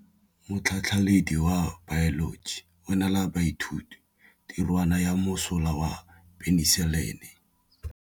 Motlhatlhaledi wa baeloji o neela baithuti tirwana ya mosola wa peniselene.